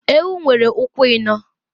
Ewu nwere ụkwụ ịnọọ.